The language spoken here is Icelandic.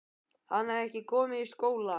Hann hafði ekki komið í skólann.